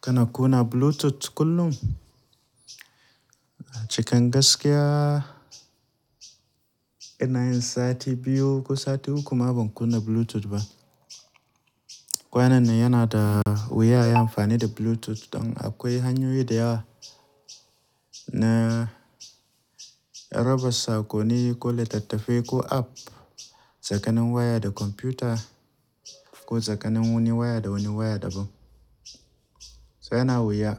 Kana kunna Bluetooth kullin. Cikan gaskiya ina yin sati biyu ko sati uku ma ban kunna Bluetooth ba. Kwanan nan yana da wuya yin amfani da Bluetooth don akwai hanyoyi da yawa na raba sakonni ko littatafai ko app tsaka nin waya da kwamfuta ko tsakanin waya da wani yawa daban to yana da wuya